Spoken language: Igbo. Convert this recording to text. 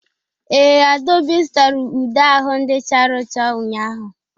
Ee, Adaobi zụtara ude ahụ ndị chara ụcha ụnyahụ.